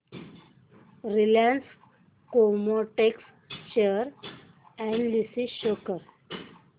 Reliance Chemotex share analysis show कर